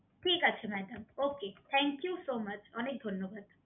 ঠিক আছে madam okay thank you so much অনেক ধন্যবাদ